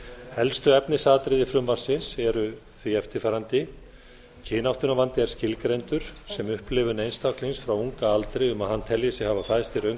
helstu efnisatriði frumvarpsins eru því eftirfarandi kynáttunarvandi er skilgreindur sem upplifun einstaklings frá unga aldri um að hann telji sig hafa fæðst í röngu